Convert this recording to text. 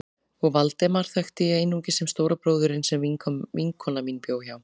Og Valdemar þekkti ég einungis sem stóra bróðurinn sem vinkona mín bjó hjá.